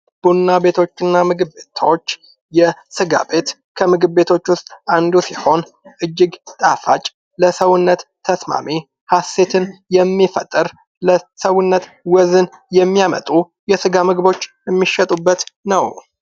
ቡና ቤቶች እና ምግብ ቤቶች ። የስጋ ቤት ከምግብ ቤቶች ውስጥ አንዱ ሲሆን እጅግ ጣፋጭ ለሰውነት ተስማሚ ሀሴትን የሚፈጥር ለሰውነት ወዝን የሚያመጡ የስጋ ምግቦች ሚሸጡበት ነው ።